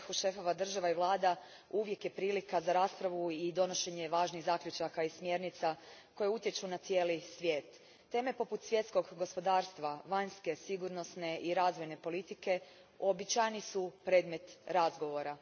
Gospođo predsjednice, sastanak na vrhu šefova država i vlada uvijek je prilika za raspravu i donošenje važnih zaključaka i smjernica koje utječu na cijeli svijet. Teme poput svjetskog gospodarstva, vanjske, sigurnosne i razvojne politike uobičajeni su predmet razgovora.